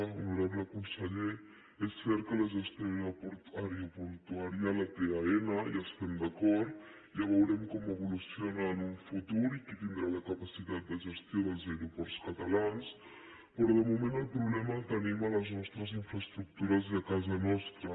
honorable conseller és cert que la gestió aeroportuària la té aena hi estem d’acord ja veurem com evoluciona en un futur i qui tindrà la capacitat de gestió dels aeroports catalans però de moment el problema el tenim en les nostres infraestructures i a casa nostra